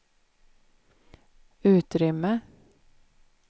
utrymme